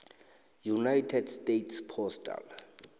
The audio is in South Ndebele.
united states postal